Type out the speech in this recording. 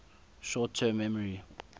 short term memory